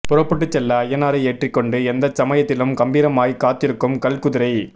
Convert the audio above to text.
புறப்பட்டுச் செல்ல ஐயனாரை ஏற்றிக் கொண்டு எந்தச் சமயத்திலும் கம்பீரமாய்க் காத்திருக்கும் கல் குதிரை